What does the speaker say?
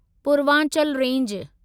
Purvanchal range